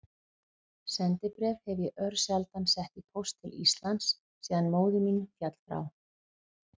Sendibréf hef ég örsjaldan sett í póst til Íslands síðan móðir mín féll frá.